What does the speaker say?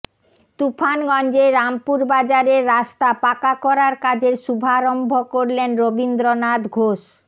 তুফানগঞ্জে রামপুর বাজারের রাস্তা পাকা করার কাজের শুভারম্ভ করলেন রবীন্দ্রনাথ ঘোষ